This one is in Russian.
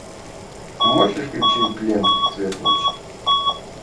можешь включить ленту цвет ночи